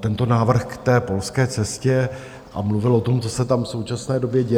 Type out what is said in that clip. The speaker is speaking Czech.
tento návrh k té polské cestě a mluvil o tom, co se tam v současné době děje.